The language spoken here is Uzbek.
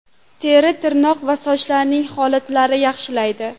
Teri, tirnoq va sochlarning holatini yaxshilaydi.